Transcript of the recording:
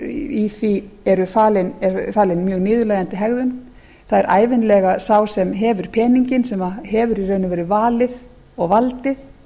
í því er falin mjög niðurlægjandi hegðun það er ævinlega sá sem hefur peninginn sem hefur í raun og veru valið og valdið